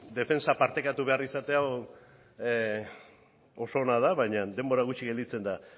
defentsa partekatu behar izate hau oso ona da baina denbora gutxi gelditzen da